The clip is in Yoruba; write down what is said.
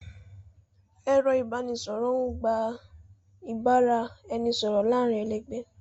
Ẹ̀rọ ìbánisọ̀rọ̀ ń gbà ìbára ẹni sọ̀rọ̀ láàárín ẹlẹgbẹ́